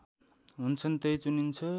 हुन्छन् त्यही चुनिन्छ